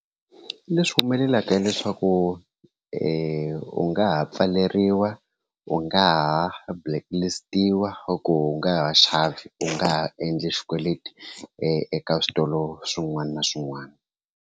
Leswi humelelaka hileswaku u nga ha pfaleriwa u nga ha blacklist-iwa or u nga ha xavi u nga ha endli xikweleti eka switolo swin'wana na swin'wana.